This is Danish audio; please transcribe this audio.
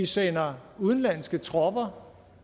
sender udenlandske tropper